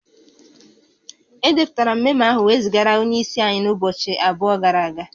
Edepụtara memo ahụ wee zigara onye isi anyị n'ụbọchị abụọ gara aga